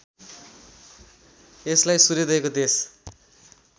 यसलाई सूर्योदयको देश